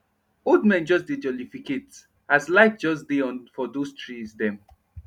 old men just dey jolificate as light just dey on for those tree dem